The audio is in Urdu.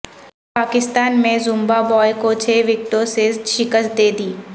پاکستان نے زمبابوے کو چھ وکٹوں سے شکست دے دی